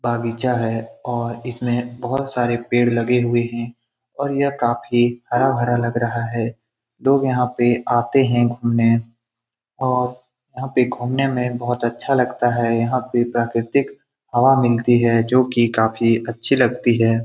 बागीचा है और इसमें बहुत सारे पेड़ लगे हुए हैं और यह काफ़ी हरा भरा लग रहा है | लोग यहाँ पर आते हैं घूमने और यहाँ पे घूमने में बहुत अच्छा लगता हैं यहाँ पर प्राकर्तिक हवा मिलती है जो कि काफ़ी अच्छी लगती हैं ।